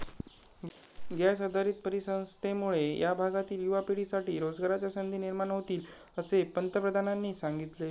gas आधारित परिसंस्थेमुळे या भागातील युवा पिढीसाठी रोजगाराच्या संधी निर्माण होतील, असे पंतप्रधानांनी सांगितले